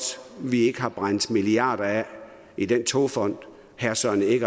at vi ikke har brændt milliarder af i den togfond herre søren egge